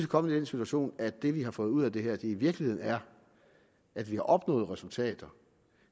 kommet i den situation at det vi har fået ud af det her i virkeligheden er at vi har opnået resultater